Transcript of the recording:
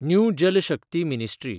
new Jal Shakti ministry